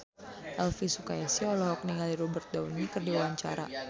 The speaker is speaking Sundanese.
Elvi Sukaesih olohok ningali Robert Downey keur diwawancara